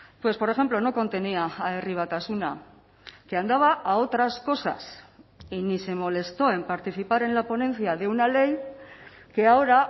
pues por ejemplo no contenía a herri batasuna que andaba a otras cosas y ni se molestó en participar en la ponencia de una ley que ahora